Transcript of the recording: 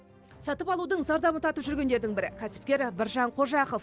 сатып алудың зардабын тартып жүргендердің бірі кәсіпкер біржан қожақов